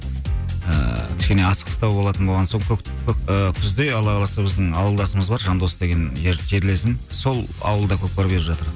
ыыы кішкене асығыстау болатын болған соң ыыы күзде алла қаласа біздің ауылдасымыз бар жандос деген жерлесім сол ауылда көкпар беріп жатыр